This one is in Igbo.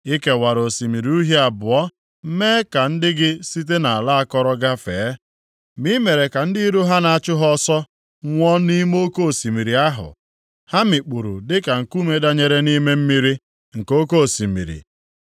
I kewara Osimiri Uhie abụọ mee ka ndị gị site nʼala akọrọ gafee. Ma i mere ka ndị iro ha na-achụ ha ọsọ nwụọ nʼime oke osimiri ahụ. Ha mikpuru dịka nkume danyere nʼime mmiri, nke oke osimiri.